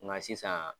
Nka sisan